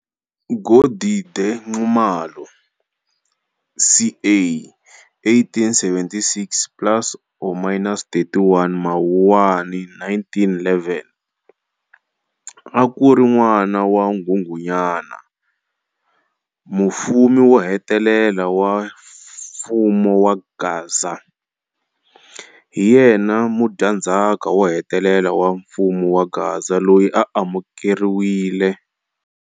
Godide Nxumalo, ca 1876-plus or minus 31 Mawuwani 1911, akuri n'wana wa Nghunghunyana, mufumi wohetelela wa mfumo wa Gaza. Hi yena mudyandhzaka wohetelela wa mfumo wa Gaza loyi a amukeriwile.